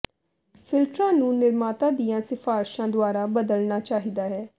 ਫਿਲਟਰਾਂ ਨੂੰ ਨਿਰਮਾਤਾ ਦੀਆਂ ਸਿਫਾਰਸ਼ਾਂ ਦੁਆਰਾ ਬਦਲਣਾ ਚਾਹੀਦਾ ਹੈ